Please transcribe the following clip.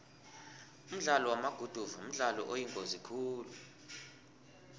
umdlalo wamaguduva mdlalo oyingozi khulu